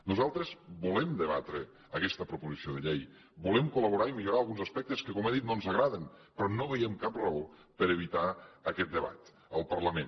nosaltres volem debatre aquesta proposició de llei volem col·laborar i millorar alguns aspectes que com he dit no ens agraden però no veiem cap raó per a evitar aquest debat al parlament